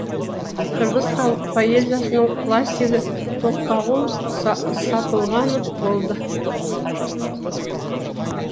қырғыз халық поэзиясының классигі тоқтоғұл сатылғанов болды